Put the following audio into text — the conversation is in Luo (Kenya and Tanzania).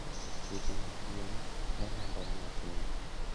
Tuoche mag gwen ne landore mapiyo.